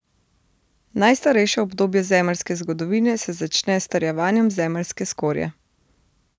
Najstarejše obdobje zemeljske zgodovine se začne s strjevanjem zemeljske skorje.